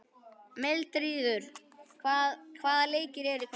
Mildríður, hvaða leikir eru í kvöld?